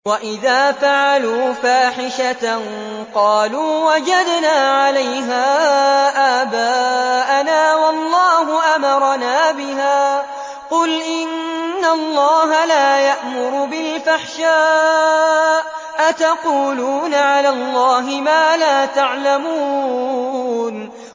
وَإِذَا فَعَلُوا فَاحِشَةً قَالُوا وَجَدْنَا عَلَيْهَا آبَاءَنَا وَاللَّهُ أَمَرَنَا بِهَا ۗ قُلْ إِنَّ اللَّهَ لَا يَأْمُرُ بِالْفَحْشَاءِ ۖ أَتَقُولُونَ عَلَى اللَّهِ مَا لَا تَعْلَمُونَ